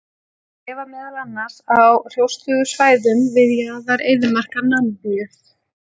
Þau lifa meðal annars á hrjóstrugum svæðum við jaðra eyðimarka Namibíu.